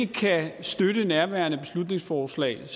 kan støtte nærværende beslutningsforslag